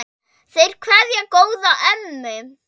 Þeir kveðja góða ömmu.